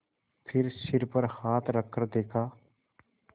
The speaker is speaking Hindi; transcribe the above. फिर सिर पर हाथ रखकर देखा